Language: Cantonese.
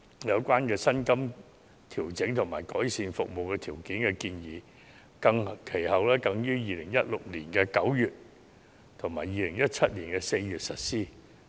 有關薪金調整和改善服務條件的建議，其後更於2016年9月及2017年4月實施。